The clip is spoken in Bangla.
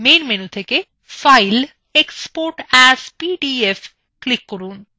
main menu থেকে file নির্বাচন from এবং export as PDF click from